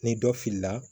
Ni dɔ filila